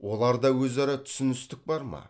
оларда өзара түсіністік бар ма